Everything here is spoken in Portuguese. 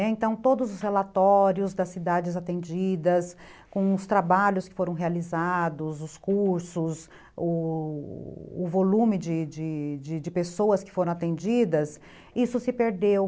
Então, todos os relatórios das cidades atendidas, com os trabalhos que foram realizados, os cursos, o volume de de pessoas que foram atendidas, isso se perdeu.